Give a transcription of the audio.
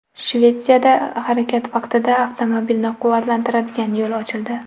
Shvetsiyada harakat vaqtida avtomobilni quvvatlantiradigan yo‘l ochildi .